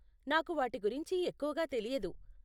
నాకు వాటి గుంచి ఎక్కువగా తెలియదు.